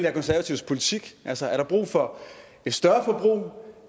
er konservatives politik altså er der brug for et større forbrug